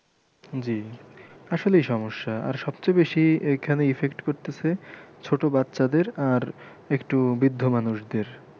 জি আসলই সমস্যা আর সবচেয়ে বেশি এইখানে effect করতেছে ছোটো বাচ্চাদের আর একটু বৃদ্ধ মানুষদের।